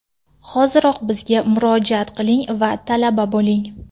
Hoziroq bizga murojaat qiling va talaba bo‘ling!